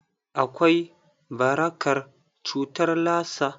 Akwai barakar cutar Lassa.